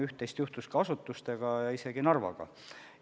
Üht-teist juhtuski asutustega ja isegi Narvaga.